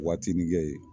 Waatininkɛ ye